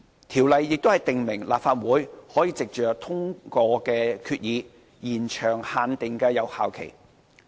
《條例》亦訂明立法會可藉通過決議，延長限定的有效期。